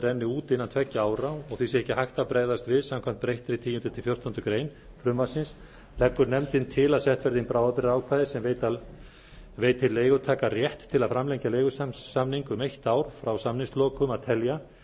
renni út innan tveggja ára og því sé ekki hægt að bregðast við samkvæmt breyttri tíundi til fjórtándu greinar frumvarpsins leggur nefndin til að sett verði inn bráðabirgðaákvæði sem veiti leigutaka rétt til að framlengja leigusamning um eitt ár frá samningslokum að telja en